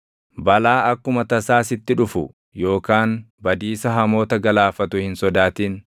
Balaa akkuma tasaa sitti dhufu yookaan badiisa hamoota galaafatu hin sodaatin;